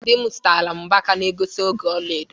Di m gotere m mgbaka na egosi oge ọla edo.